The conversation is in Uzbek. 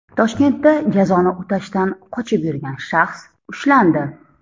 Toshkentda jazoni o‘tashdan qochib yurgan shaxs ushlandi.